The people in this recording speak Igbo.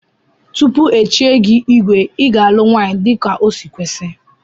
Tupu echie gi igwe iga alụ nwanyi dika osi kwesi.